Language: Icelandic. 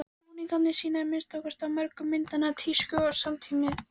Búningarnir sýna, að minnsta kosti á mörgum myndanna, tísku samtímans.